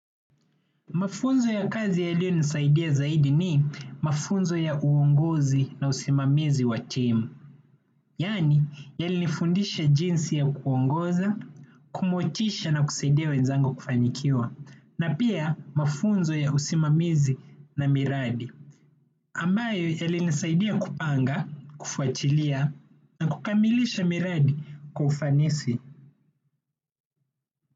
Mafunzo ya kazi yaliyonisaidia zaidi ni mafunzo ya uongozi na usimamizi wa timu. Yaani, yalinifundisha jinsi ya kuongoza, kumotisha na kusaidia wenzangu kufanikiwa. Na pia mafunzo ya usimamizi na miradi. Ambayo yalinisaidia kupanga, kufuatilia na kukamilisha miradi kwa ufanisi.